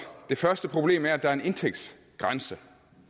det første problem er at der er en indtægtsgrænse